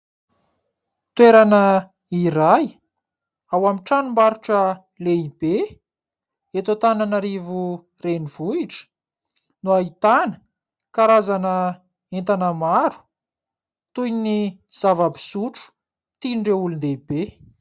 Toerana iray ao amin'ny tranombarotra lehibe eto Antananarivo renivohitra no ahitana karazana entana maro, toy ny zava-pisotro tian'ireo olon-dehibe.